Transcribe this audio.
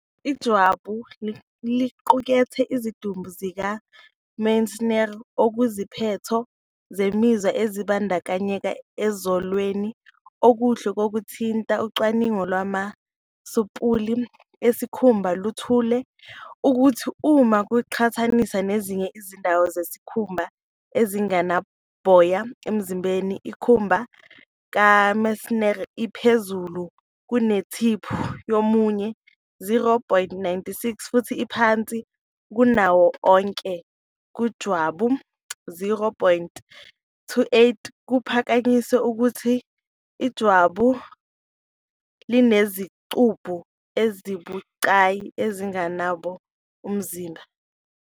Ijwabu liqukethe izidumbu zikaMeissner, okuyiziphetho zemizwa ezibandakanyeka ekuzweleni okuhle kokuthinta. Ucwaningo lwamasampuli esikhumba luthole ukuthi, uma kuqhathaniswa nezinye izindawo zesikhumba ezingenaboya emzimbeni, inkomba kaMeissner ibiphezulu kunethiphu yomunwe, 0.96, futhi iphansi kunawo onke kujwabu, 0.28, kuphakanyiswe ukuthi ijwabu linezicubu ezibucayi ezingenaboya umzimba.